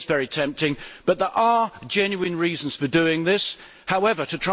Yes, it is very tempting, but there are genuine reasons for doing it.